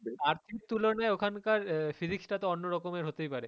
Earth এর তুলনায় ওখানকার আহ physics টা তো অন্যরকমের হতেই পারে।